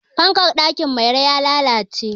Fankar ɗakin Mairo ya lalalce.